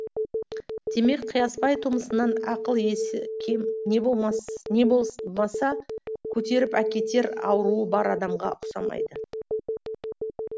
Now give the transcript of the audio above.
демек қиясбай тумысынан ақыл есі кем не болмаса көтеріп әкетер ауруы бар адамға ұқсамайды